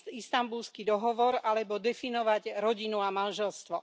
Istanbulský dohovor alebo definovať rodinu a manželstvo.